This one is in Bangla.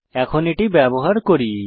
এখন এটি ব্যবহার করি